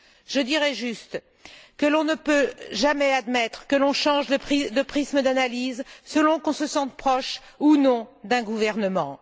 Je dirai juste que l'on ne peut jamais admettre que l'on change de prisme d'analyse selon qu'on se sente proche ou non d'un gouvernement.